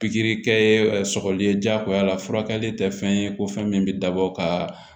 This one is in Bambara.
Pikiri kɛ sɔgɔli ye jagoya la furakɛli tɛ fɛn ye ko fɛn min bɛ dabɔ ka